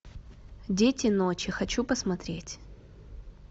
дети ночи хочу посмотреть